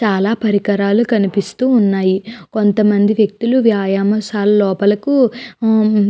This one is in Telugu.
చాలా పరికరాలు కనిపిస్తున్నాయి. కొంతమంది వ్యక్తులు వ్యాయామ శాల లోపలకు మ్మ్ --